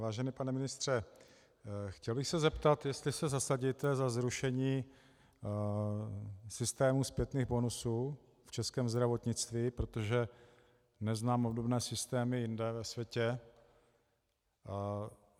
Vážený pane ministře, chtěl bych se zeptat, jestli se zasadíte za zrušení systému zpětných bonusů v českém zdravotnictví, protože neznám obdobné systémy jinde ve světě.